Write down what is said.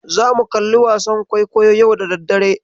Zamu kalli wasa kwaikwayo yau da daddare.